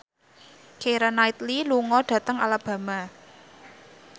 Keira Knightley lunga dhateng Alabama